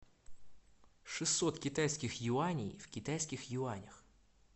шестьсот китайских юаней в китайских юанях